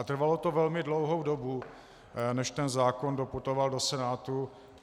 A trvalo to velmi dlouhou dobu, než ten zákon doputoval do Senátu.